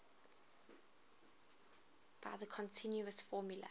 by the continuous formula